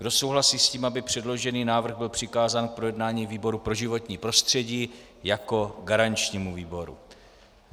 Kdo souhlasí s tím, aby předložený návrh byl přikázán k projednání výboru pro životní prostředí jako garančnímu výboru?